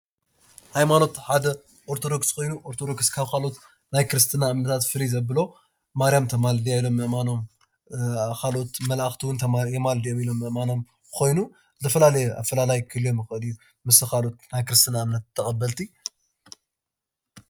ሃይማኖት ሓደ ኦርቶዶክስ ኮይኑ ኦርቶዶክስ ካብቶም ካልኦት ናይ ክርስትና እምነታት ፍልይ ዘብሎ ማርያም ተማልድ እያ ምእማኖም። ካልኦት መላእኽቲ ውን የማልዱ ኢሎም ምእማኖም ኾይኑ ዝተፈላለየ ኣፈላላይ ክህልዎም ይኽእል እዩ ምስቶም ካልኦት ናይ ክርስትና እምነት ተቀበልቲ።